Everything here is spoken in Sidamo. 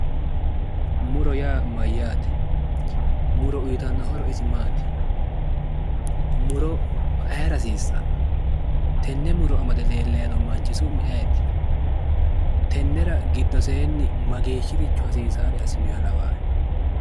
Muro yaa mayyaate? muro uytanno horo isi maati? muro ayeera hasiissanno? tenne muro amade leellano manchi su'mi ayeeti? tennera giddosehe mageeya hasiissare assinoha lawahe?